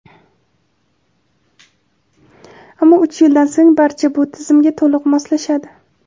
ammo uch yildan so‘ng barcha bu tizimga to‘liq moslashadi.